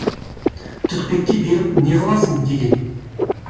түртпектей беріп неғыласың деген